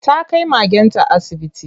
Ta kai magenta asibiti.